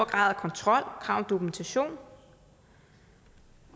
grad af kontrol og krav om dokumentation